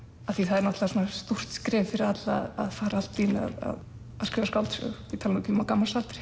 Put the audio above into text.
af því það er stórt skref fyrir alla að fara að skrifa skáldsögu ég tala nú ekki um á gamals aldri